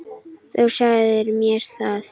Þú sagðir mér það.